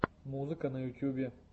музыка на ютьюбе